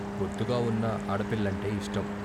బొద్దుగా వున్న ఆడపిల్లంటే ఇష్టం.